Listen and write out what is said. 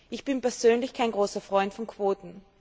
Ich bin persönlich kein großer Freund von Quoten.